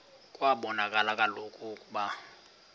kwabonakala kaloku ukuba